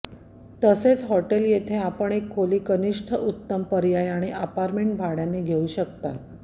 तसेच हॉटेल येथे आपण एक खोली कनिष्ठ उत्तम पर्याय आणि अपार्टमेंट भाड्याने देऊ शकता